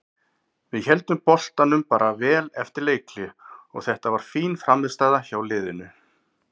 Við héldum boltanum bara vel eftir leikhlé og þetta var fín frammistaða hjá liðinu.